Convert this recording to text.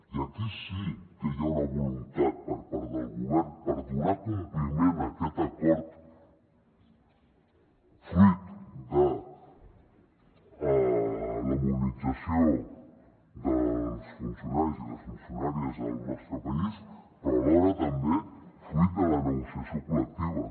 i aquí sí que hi ha una voluntat per part del govern per donar compliment a aquest acord fruit de la mobilització dels funcionaris i les funcionàries al nostre país però alhora també fruit de la negociació col·lectiva